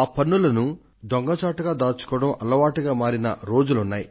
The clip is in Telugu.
ఆ పన్నులను దొంగచాటుగా నొక్కేయడం అలవాటుగా మారిన రోజులు ఉన్నాయి